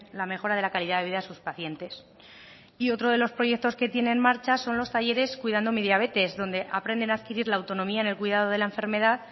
la mejora de la calidad de vida a sus pacientes y otro de los proyectos que tiene en marcha son los talleres cuidando mi diabetes donde aprenden a adquirir la autonomía en el cuidado de la enfermedad